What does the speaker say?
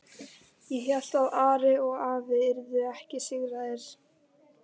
Ég hélt að Ari og afi yrðu ekki sigraðir.